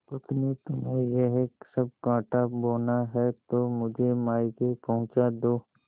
पत्नीतुम्हें यह सब कॉँटा बोना है तो मुझे मायके पहुँचा दो